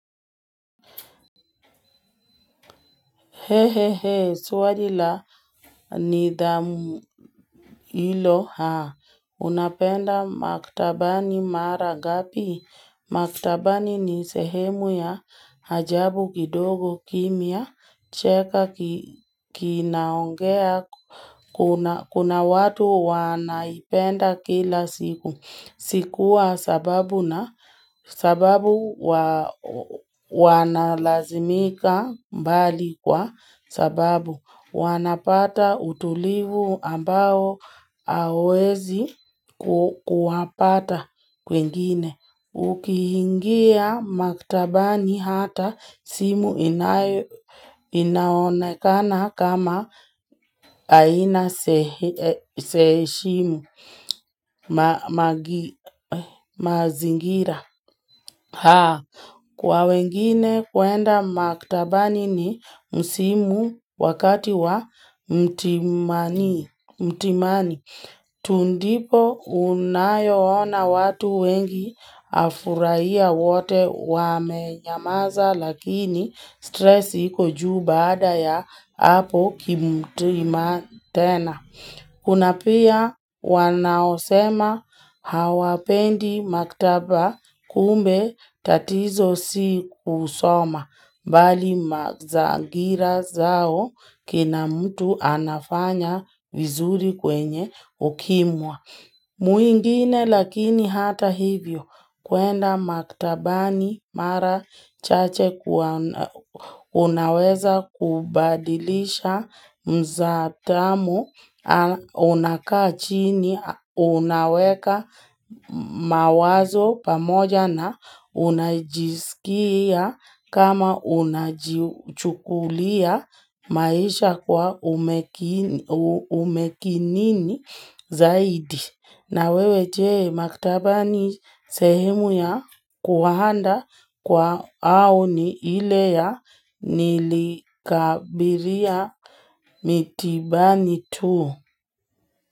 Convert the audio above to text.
He he he, swali la ni dhamu ilo, haa, unapenda maktabani marangapi, maktabani ni sehemu ya hajabu kidogo kimya, cheka kinaongea, kuna watu wanaipenda kila siku, sikuwa sababu na, sababu wanalazimika mbali kwa sababu. Wanapata utulivu ambao awezi kuhapata kwingine. Ukihingia maktabani hata simu inaonekana kama aina seishimu mazingira. Kwa wengine kuenda maktaba ni ni msimu wakati wa mtimani. Tundipo unayo ona watu wengi afurahia wote wame nyamaza lakini stressi kujuu baada ya hapo kimtima tena. Kuna pia wanaosema hawapendi maktaba kumbe tatizo si kusoma, bali mazagira zao kina mtu anafanya vizuri kwenye ukimwa. Mwingine lakini hata hivyo kuenda maktabani mara chache unaweza kubadilisha mzatamo unakaa chini unaweka mawazo pamoja na unajisikia kama unachukulia maisha kwa umekinini zaidi. Na wewe jee maktabani sehemu ya kuwahanda kwa au ni ile ya nilikabiria mitibani tu.